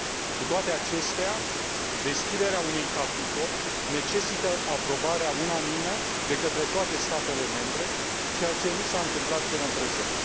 Cu toate acestea, deschiderea unui capitol necesită aprobarea unanimă, de către toate statele membre, ceea ce nu s a întâmplat până în prezent.